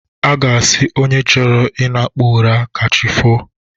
A ga-asị onye chọrọ ịnakpu ụra ka chi foo.